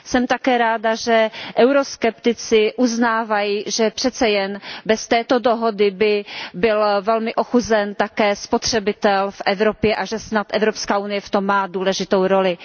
Jsem také ráda, že euroskeptici uznávají, že přece jen bez této dohody by byl velmi ochuzen také spotřebitel v Evropě a že snad Evropská unie v tom má důležitou roli.